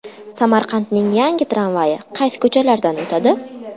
Samarqandning yangi tramvayi qaysi ko‘chalardan o‘tadi?.